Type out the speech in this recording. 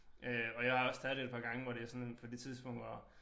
Øh og jeg har også taget det et par gange hvor det sådan på det tidspunkt var